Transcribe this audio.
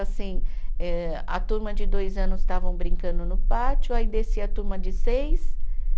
Assim eh, a turma de dois anos estavam brincando no pátio, aí descia a turma de seis